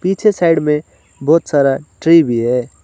पीछे साइड में बहुत सारा ट्री भी है।